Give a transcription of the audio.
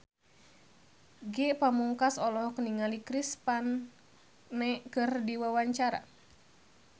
Ge Pamungkas olohok ningali Chris Pane keur diwawancara